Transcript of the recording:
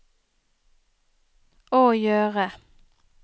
å gjøre